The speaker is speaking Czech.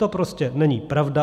To prostě není pravda.